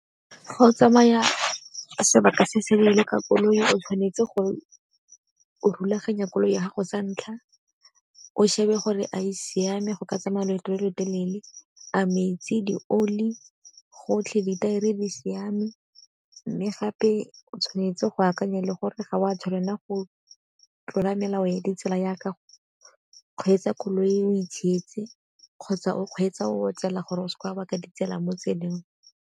Ga o tsamaya sebaka se se leele ka koloi o tshwanetse go rulaganya koloi ya gago sa ntlha, o shebe gore a e siame go ka tsamaya leeto le lotelele, a metsi di oli gotlhe ditaere di siame. Mme gape o tshwanetse go akanya le gore ga o a tshwanela go tlola melao le di tsela yaka go kgweetsa koloi o itshietse kgotsa o kgweetsa o otsela gore o seke wa baka ditsela mo tseleng.